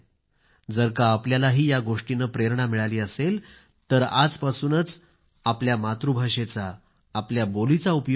जर का आपल्यालाही या गोष्टीने प्रेरणा मिळाली असेल तर आजपासूनच आपल्या मातृभाषेचा आपल्या बोली चा उपयोग करा